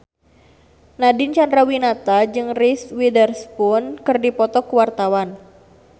Nadine Chandrawinata jeung Reese Witherspoon keur dipoto ku wartawan